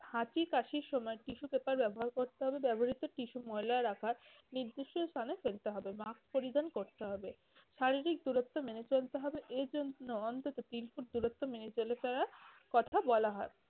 হাঁচি কাশির সময় tissue paper ব্যবহার করতে হবে, ব্যবহৃত টিস্যু ময়লা রাখার নির্দিষ্ট স্থানে ফেলতে হবে। mask পরিধান করতে হবে শারীরিক দূরত্ব মেনে চলতে হবে। এজন্য অন্তত তিন ফুট দূরত্ব মেনে চলে~ চলার কথা বলা হয়।